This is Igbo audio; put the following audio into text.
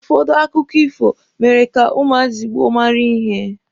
Ụfọdụ akụkọ ifo mere ka ụmụazị gboo mara ihe